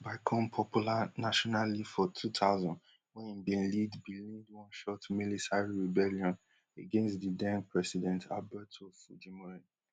i com popular nationally for two thousand wen den lead bin lead one short milisary rebellion against di then president alberto fujimori